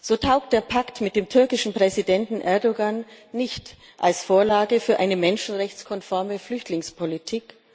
So taugt der Pakt mit dem türkischen Präsidenten Erdoğan nicht als Vorlage für eine menschenrechtskonforme Flüchtlingspolitik.